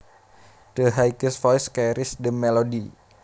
The highest voice carries the melody